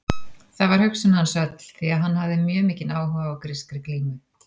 Þar var hugsun hans öll því að hann hafði mjög mikinn áhuga á grískri glímu.